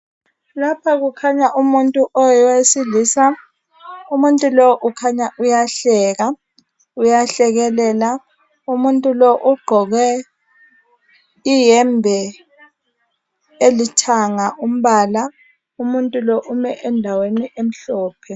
Lapho kukhanya umuntu owesilisa umuntu lo ukhanya uyahleka uyahlekelela umuntu lo ugqoke iyembe elithanga ombala umuntu ume endaweni emhlophe